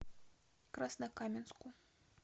краснокаменску